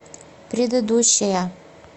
предыдущая